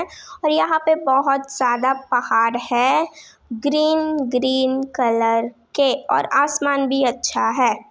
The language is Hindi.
और यहाँ पे बहुत ज़्यादा पहाड़ है ग्रीन-ग्रीन कलर के और आसमान भी अच्छा है।